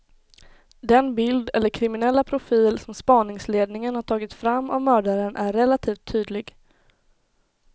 Den bild eller kriminella profil som spaningsledningen har tagit fram av mördaren är relativt tydlig.